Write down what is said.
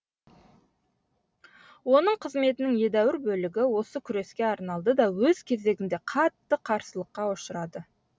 оның қызметінің едәуір бөлігі осы күреске арналды да өз кезегінде қатты қарсылыққа ұшырады